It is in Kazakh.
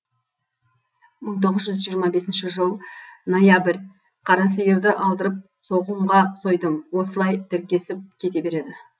мың тоғыз жүз жиырма бесінші жыл ноябрь қара сиырды алдырып соғымға сойдым осылай тіркесіп кете береді